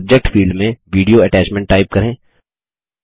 subject field में video attachment type करें